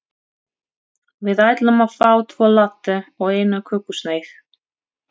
Við ætlum að fá tvo latte og eina kökusneið.